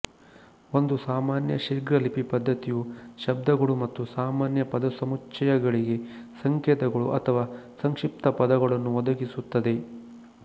ಒಂದು ಸಾಮಾನ್ಯ ಶೀಘ್ರಲಿಪಿ ಪದ್ಧತಿಯು ಶಬ್ದಗಳು ಮತ್ತು ಸಾಮಾನ್ಯ ಪದಸಮುಚ್ಚಯಗಳಿಗೆ ಸಂಕೇತಗಳು ಅಥವಾ ಸಂಕ್ಷಿಪ್ತ ಪದಗಳನ್ನು ಒದಗಿಸುತ್ತದೆ